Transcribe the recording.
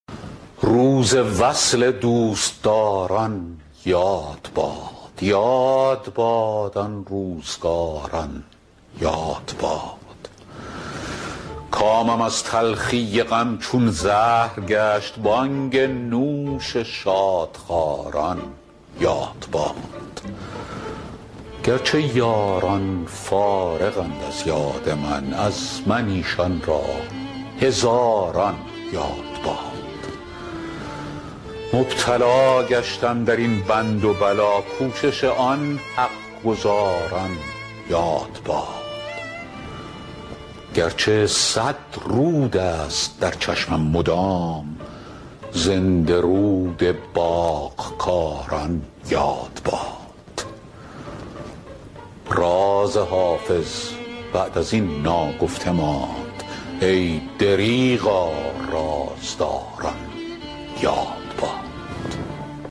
روز وصل دوستداران یاد باد یاد باد آن روزگاران یاد باد کامم از تلخی غم چون زهر گشت بانگ نوش شادخواران یاد باد گر چه یاران فارغند از یاد من از من ایشان را هزاران یاد باد مبتلا گشتم در این بند و بلا کوشش آن حق گزاران یاد باد گر چه صد رود است در چشمم مدام زنده رود باغ کاران یاد باد راز حافظ بعد از این ناگفته ماند ای دریغا رازداران یاد باد